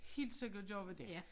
Helt sikkert gør vi det